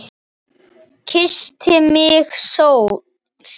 Kyssti mig sól.